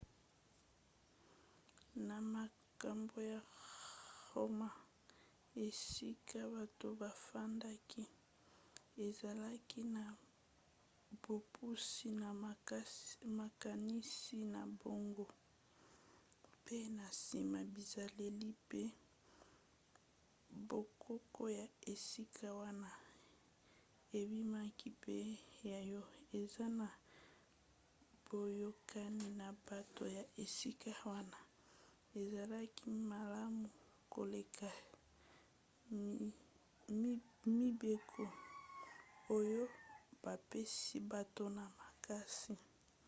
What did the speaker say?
na makambo ya roma esika bato bafandaki ezalaki na bopusi na makanisi na bango mpe na nsima bizaleli mpe bokoko ya esika wana ebimaki mpe yango eza na boyokani na bato ya esika wana ezalaki malamu koleka mibeko oyo bapesi bato na makasi